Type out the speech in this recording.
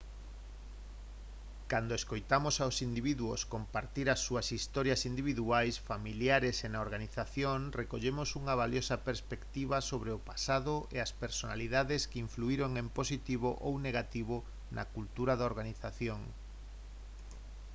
cando escoitamos aos individuos compartir as súas historias individuais familiares e na organización recollemos unha valiosa perspectiva sobre o pasado e as personalidades que influíron en positivo ou negativo na cultura da organización